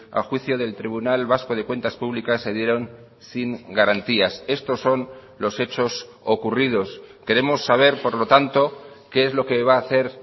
a juicio del tribunal vasco de cuentas públicas se dieron sin garantías estos son los hechos ocurridos queremos saber por lo tanto qué es lo que va a hacer